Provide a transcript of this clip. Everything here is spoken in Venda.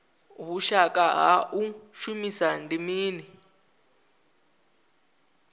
vhushaka ha u shumisana ndi mini